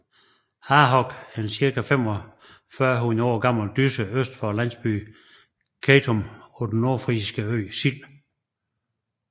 Harhoog er en cirka 4500 år gammel dysse øst for landsbyen Kejtum på den nordfrisiske ø Sild